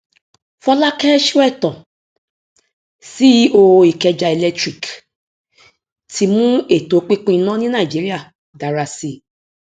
fọlákẹ sóẹtàn ceo ikeja electric ti mú ètò pínpín iná ní nàìjíríà dára sí